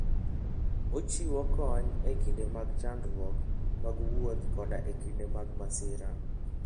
Ochiwo kony e kinde mag chandruok mag wuoth koda e kinde mag masira.